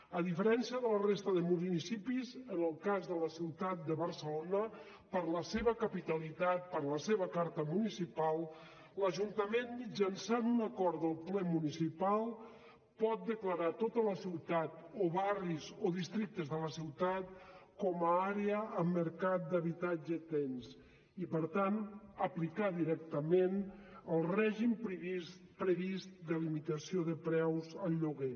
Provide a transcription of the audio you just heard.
a diferència de la resta de municipis en el cas de la ciutat de barcelona per la seva capitalitat per la seva carta municipal l’ajuntament mitjançant un acord del ple municipal pot declarar tota la ciutat o barris o districtes de la ciutat com a àrea amb mercat d’habitatge tens i per tant aplicar directament el règim previst de limitació de preus al lloguer